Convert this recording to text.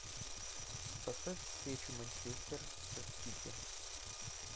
поставь встречу манчестер с сити